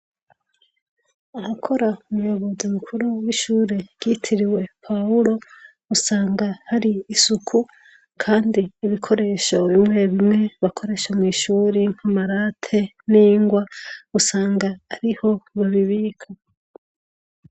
Ahakora umuyobozi mukuru w’ishuri ryitiriwe Pawulo, usanga hari isuku, Kandi ibikoresho bimwe bimwe bakoresha mw’ishuri nkama rate n’ingwa , usanga ariho babibika.